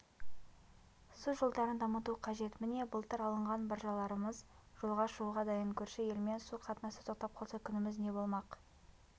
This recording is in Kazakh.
су жолдарын дамыту қажет міне былтыр алынған баржаларымыз жолға шығуға дайын көрші елмен су қатынасы тоқтап қалса күніміз не болмақ